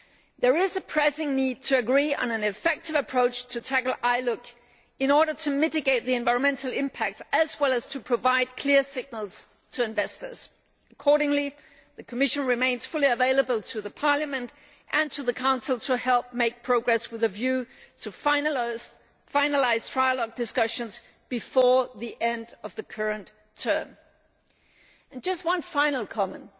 There is a pressing need to agree on an effective approach to tackle ILUC in order to mitigate the environmental impact as well as to provide clear signals to investors. Accordingly the Commission remains fully available to the Parliament and to the Council to help achieve progress, with a view to finalising trialogue discussions before the end of the current term. Just one final comment.